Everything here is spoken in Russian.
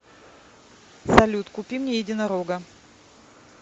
салют купи мне единорога